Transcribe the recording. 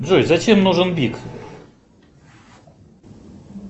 джой зачем нужен бик